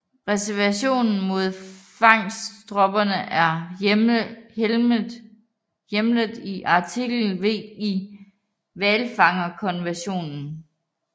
Reservationen mod fangststoppet er hjemlet i Artikel V i hvalfangstkonventionen